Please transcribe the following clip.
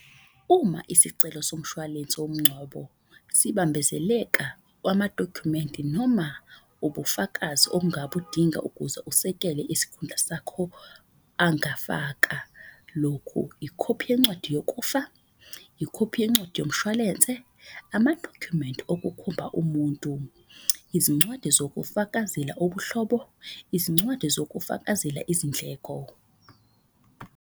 Uma isicelo somshwalense womngcwabo sibambezeleka kwamadokhumenti noma ubufakazi obungabudinga. Ukuze usekele isikhundla sakho angafaka lokhu, ikhophi yencwadi yokufa, ikhophi yencwadi yomshwalense. Amadokhumenti okukhomba umuntu, izincwadi sokufakazela ubuhlobo, izincwadi sokufakazela izindleko.